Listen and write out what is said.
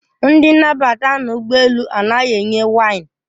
Ndị nnabata n'ụgbọ elu anaghị enye waịn.